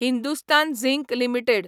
Hindustan zinc limited